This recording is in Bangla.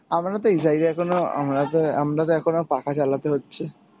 আমারতো এই জায়গায় কোনো আমরা যে আমরা তো এখনও পাখা চালাতে হচ্ছে, প্রচুর মশা রে আমাদের এদিকে